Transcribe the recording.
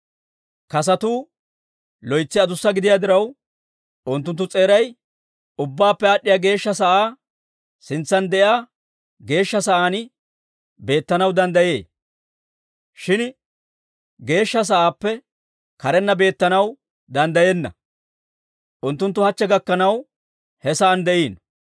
Kasotuu loytsi adussa gidiyaa diraw, unttunttu s'eeray Ubbaappe Aad'd'iyaa Geeshsha sa'aa sintsan de'iyaa Geeshsha Sa'aan beettanaw danddayee; shin Geeshsha Sa'aappe karenna beettanaw danddayenna. Unttunttu hachche gakkanaw he sa'aan de'iino.